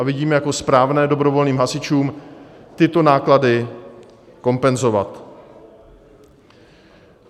A vidíme jako správné dobrovolným hasičům tyto náklady kompenzovat.